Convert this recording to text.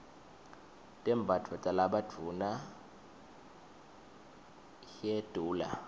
tembatfo talabadvuna hyedula